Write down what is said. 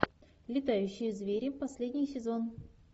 летающие звери последний сезон